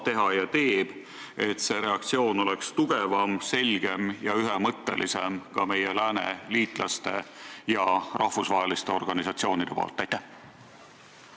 Mida Eesti saab teha ja teeb, et ka meie lääneliitlaste ja rahvusvaheliste organisatsioonide reaktsioon oleks tugevam, selgem ja ühemõttelisem?